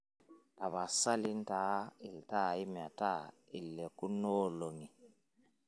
tapasali intaa iltaai metaa ilekunoolong'i